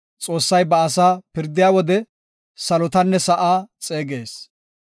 Xoossay ba asaa pirdiya wode, salotanne sa7aa xeegees.